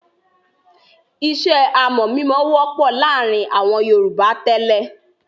Iṣẹ́ amọ̀-mímọ wọ́pọ̀ láàárin àwọn Yorùbá tẹ́lẹ̀.